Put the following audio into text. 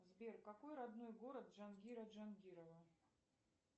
сбер какой родной город джангира джангирова